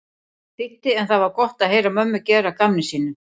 þýddi en það var gott að heyra mömmu gera að gamni sínu.